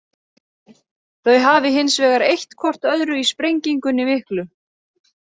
Þau hafi hins vegar eytt hvort öðru í sprengingunni miklu.